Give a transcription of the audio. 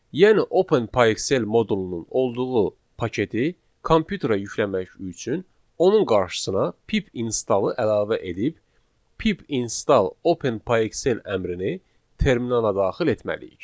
Yəni OpenPyXL modulunun olduğu paketi kompüterə yükləmək üçün onun qarşısına pip installı əlavə edib pip install OpenPyXL əmrini terminala daxil etməliyik.